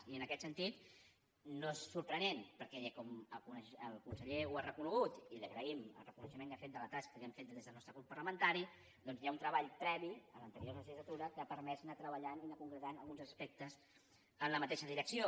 i en aquest sentit no és sorprenent perquè com el conseller ha reconegut i li agraïm el reconeixement que ha fet de la tasca que hem fet des del nostre grup parlamentari doncs hi ha un treball previ en l’anterior legislatura que ha permès anar treballant i anar concretant alguns aspectes en la mateixa direcció